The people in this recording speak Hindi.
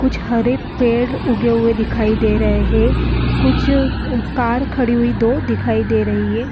कुछ हरे पेड़ उगे हुए दिखाई दे रहे हैं कुछ कार खड़ी हुई दो दिखाई दे रही है।